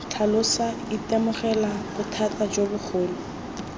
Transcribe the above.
tlhalosa itemogela bothata jo bogolo